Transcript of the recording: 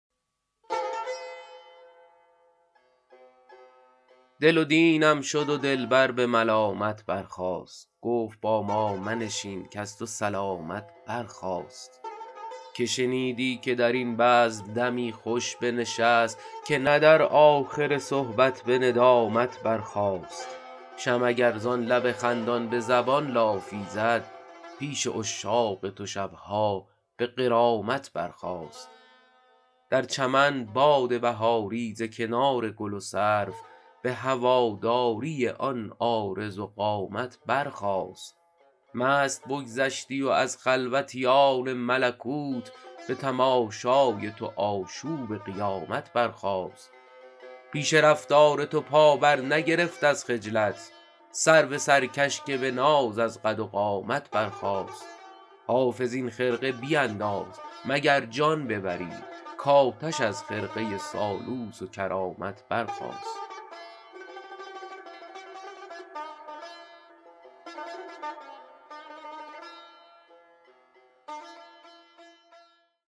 دل و دینم شد و دلبر به ملامت برخاست گفت با ما منشین کز تو سلامت برخاست که شنیدی که در این بزم دمی خوش بنشست که نه در آخر صحبت به ندامت برخاست شمع اگر زان لب خندان به زبان لافی زد پیش عشاق تو شب ها به غرامت برخاست در چمن باد بهاری ز کنار گل و سرو به هواداری آن عارض و قامت برخاست مست بگذشتی و از خلوتیان ملکوت به تماشای تو آشوب قیامت برخاست پیش رفتار تو پا برنگرفت از خجلت سرو سرکش که به ناز از قد و قامت برخاست حافظ این خرقه بینداز مگر جان ببری کآتش از خرقه سالوس و کرامت برخاست